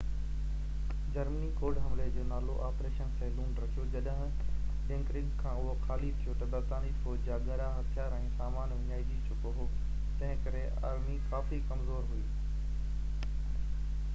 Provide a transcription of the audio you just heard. Germany code حملي جو نالو آپريشن سيليون” رکيو. جڏهن ڊنڪرڪ کان اهو خالي ٿيو ته، برطانوي فوج جا ڳرا هٿيار ۽ سامان وڃائجي چڪو هو، تنهن ڪري آرمي ڪافي ڪمزور هئي